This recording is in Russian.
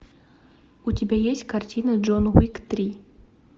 у тебя есть картина джон уик три